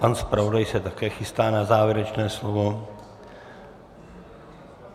Pan zpravodaj se také chystá na závěrečné slovo.